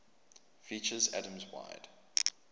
features atoms wide